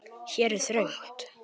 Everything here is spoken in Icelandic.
Hér er þröngt.